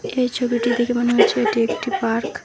এই ছবিটি দেখে মনে হচ্ছে এটি একটি পার্ক ।